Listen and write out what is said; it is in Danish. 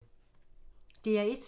DR1